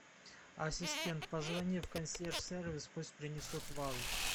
ассистент позвони в консьерж сервис пусть принесут вазу